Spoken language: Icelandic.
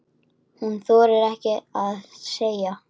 Hún þorir ekkert að segja.